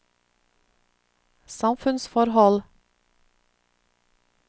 samfunnsforhold